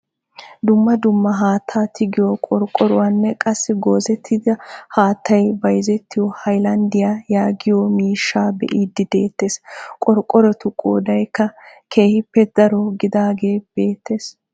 Dumma dumma haattaa tigiyoo qorqoruwaanne qassi goozettida haattay bayzettiyoo haylanddiyaa yaagiyoo miishshaa be'idi de'eettees. qorqorotu qoodaykka keehippe daro gidaagee beettees.